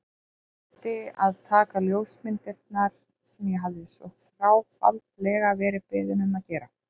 Gleymdi að taka ljósmyndirnar sem ég hafði svo þráfaldlega verið beðinn um að gera.